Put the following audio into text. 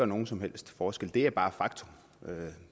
nogen som helst forskel det er bare et faktum